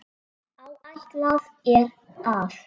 Áætlað er að